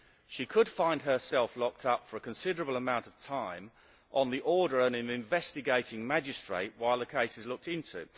She could find herself locked up for a considerable amount of time on the order of an investigating magistrate while the case is looked into.